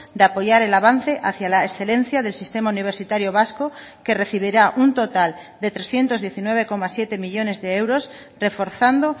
de apoyar el avance hacia la excelencia del sistema universitario vasco que recibirá un total de trescientos diecinueve coma siete millónes de euros reforzando